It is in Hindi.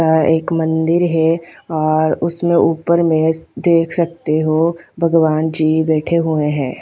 अ एक मंदिर है और उसमें ऊपर में देख सकते हो भगवान जी बैठे हुए है।